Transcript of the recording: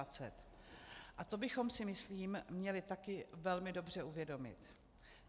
A to bychom si, myslím, měli také velmi dobře uvědomit.